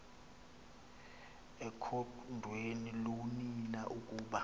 ekhondweni loonina ukuba